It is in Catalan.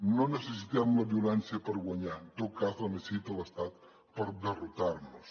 no necessitem la violència per guanyar en tot cas la necessita l’estat per derrotar nos